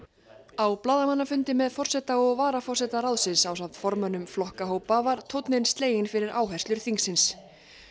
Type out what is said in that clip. á blaðamannafundi með forseta og varaforseta ráðsins ásamt formönnum flokkahópa var tónninn sleginn fyrir áherslur þingsins